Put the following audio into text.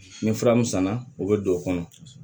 Ni fura min sanna o bɛ don o kɔnɔ